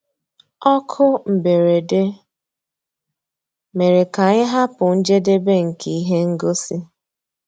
Ókú mbérèdé mérè ká ànyị́ hàpụ́ njédébè nkè íhé ngósì.